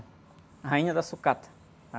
A Rainha da Sucata.